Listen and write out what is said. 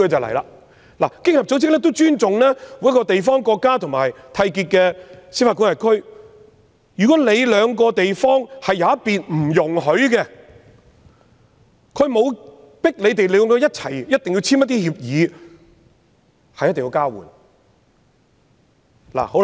其實，經合組織尊重各地方、國家和締約司法管核區，如果締約雙方的其中一方是不容許的，經合組織並不會強迫締約雙方必須簽訂協議交換資料。